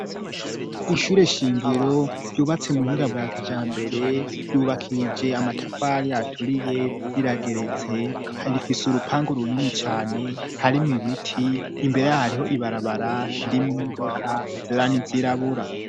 Ishure shingiro ryubatse mu buhinga bwa kijambere ryubakije amatafari aturiye rirageretse rifise urupanga runini cane harimu ibiti imbere hariho ibarabara riri mu imodoka izera nizirabura.